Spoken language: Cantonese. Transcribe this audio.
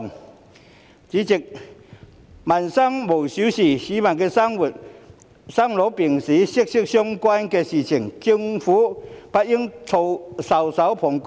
代理主席，民生無小事，與市民生老病死息息相關的事情，政府不應袖手旁觀。